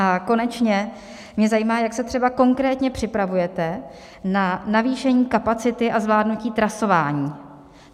A konečně mě zajímá, jak se třeba konkrétně připravujete na navýšení kapacity a zvládnutí trasování.